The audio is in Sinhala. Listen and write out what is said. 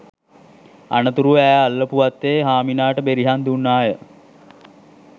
අනතුරුව ඈ අල්ලපු වත්තේ හාමිනාට බෙරිහන් දුන්නාය